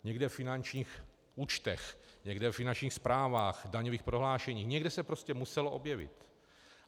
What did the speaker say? Někde ve finančních účtech, někde ve finančních zprávách, daňových prohlášeních, někde se prostě muselo objevit.